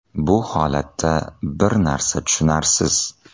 Bu holatda bir narsa tushunarsiz.